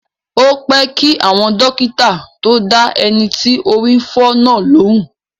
Ó pẹ́ kí àwọn dókítà tó dá ẹni tí orí ń fọ́ náà lóhùn.